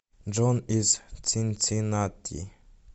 джон из цинциннати